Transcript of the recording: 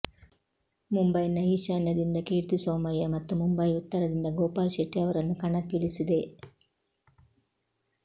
ಮುಂಬೈನ ಈಶಾನ್ಯದಿಂದ ಕೀರ್ತಿ ಸೋಮಯ್ಯ ಮತ್ತು ಮುಂಬೈ ಉತ್ತರದಿಂದ ಗೋಪಾಲ್ ಶೆಟ್ಟಿ ಅವರನ್ನು ಕಣಕ್ಕಿಳಿಸಿದೆ